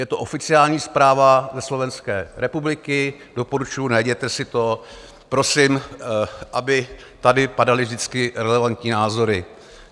Je to oficiální zpráva ze Slovenské republiky, doporučuji, najděte si to prosím, aby tady padaly vždycky relevantní názory.